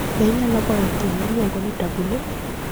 Be inyalo goyo thum miluongo ni tabu ley?